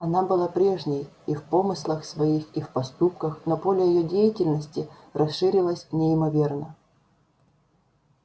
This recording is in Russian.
она была прежней и в помыслах своих и в поступках но поле её деятельности расширилось неимоверно